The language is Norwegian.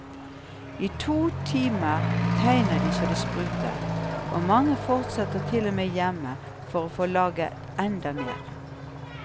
I to timer tegner de så det spruter, og mange fortsetter til og med hjemme for å få laget enda mer.